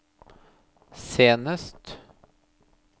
senest